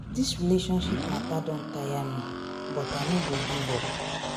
Dis relationship mata don tire me but I no go give up.